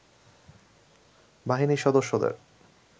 বাহিনীর সদস্যদের